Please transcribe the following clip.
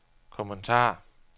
kommentar